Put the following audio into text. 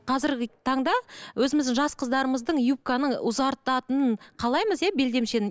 қазіргі таңда өзіміздің жас қыздарымыздың юбканың ұзартатынын қалаймыз иә белдемешенің